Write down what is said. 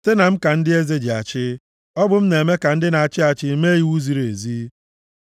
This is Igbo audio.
Site na m ka ndị eze ji achị, ọ bụ m na-eme ka ndị na-achị achị mee iwu ziri ezi.